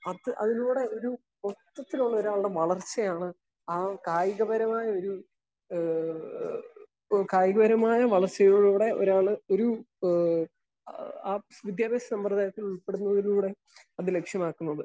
Speaker 1 അത് അതിലൂടെ ഒരു മൊത്തത്തിലുള്ള ഒരാളുടെ വളർച്ചയാണ് ആഹ് കായികപരമായ ഒരു ഏഹ് ഏഹ് ഇപ്പൊ കായിക പരമായ വളർച്ചയിലൂടെ ഒരാൾ ഒരു ഏഹ് ആഹ് വിദ്യാഭ്യാസ സമ്പ്രദായത്തിൽ ഉൾപ്പെടുന്നതിലൂടെ അത് ലക്ഷ്യമാക്കുന്നത്.